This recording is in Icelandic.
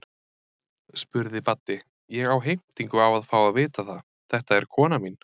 spurði Baddi, ég á heimtingu á að fá að vita það, þetta er konan mín.